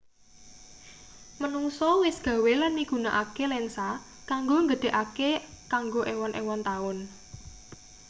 manungsa wis gawe lan migunakake lensa kanggo nggedhekake kanggo ewon-ewon taun